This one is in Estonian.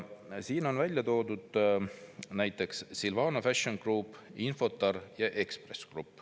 Siin on välja toodud näiteks Silvano Fashion Group, Infortar ja Ekspress Grupp.